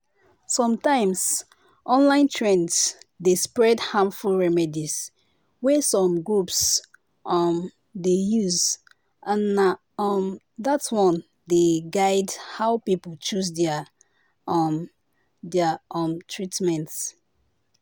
sometimes online trends dey spread harmful remedies wey some groups um dey use and na um that one dey guide how people choose their um their um treatment